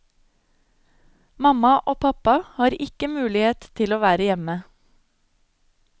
Mamma og pappa har ikke mulighet til å være hjemme.